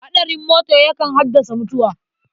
Haɗarin mota yakan haddasa mutuwa.